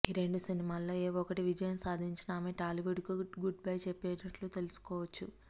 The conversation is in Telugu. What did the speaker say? ఈ రెండు సినిమాల్లో ఏ ఒక్కటి విజయం సాధించిన ఆమె టాలీవుడ్ కు గుడ్ బై చెప్పినట్లే అనుకోవచ్చు